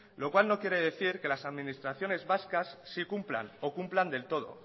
lo cual no quiere decir que las administraciones vascas sí cumplan o cumplan del todo